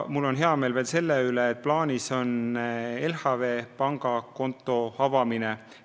Mul on hea meel selle üle, et plaanis on pangakonto avamine LHV Pangas.